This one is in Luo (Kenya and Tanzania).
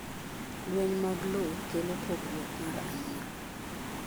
Lweny mag loo kelo pogruok mar anyuola.